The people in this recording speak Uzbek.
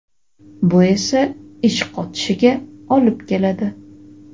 bu esa ich qotishiga olib keladi.